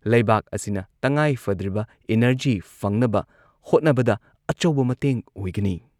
ꯂꯩꯕꯥꯛ ꯑꯁꯤꯅ ꯇꯉꯥꯏꯐꯗ꯭ꯔꯤꯕ ꯏꯅꯔꯖꯤ ꯐꯪꯅꯕ ꯍꯣꯠꯅꯕꯗ ꯑꯆꯧꯕ ꯃꯇꯦꯡ ꯑꯣꯏꯒꯅꯤ꯫